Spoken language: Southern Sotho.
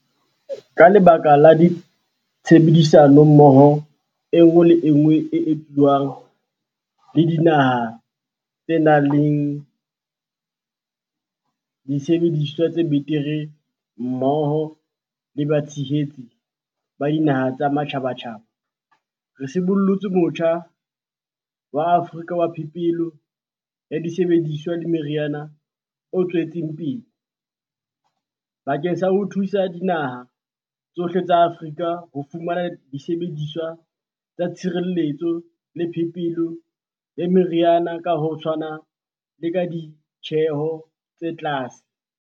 Ka lebaka la tshebedisano mmoho enngwe le enngwe e etswang le dinaha tse nang le disebediswa tse betere mmoho le batshehetsi ba dinaha tsa matjhabatjhaba, re sibollotse Motjha wa Afrika wa Phepelo ya Disebediswa le Meriana o tswetseng pele, bakeng sa ho thusa dinaha tsohle tsa Afrika ho fumana disebediswa tsa tshireletso le phepelo ya meriana ka ho tshwana le ka ditjeho tse tlase.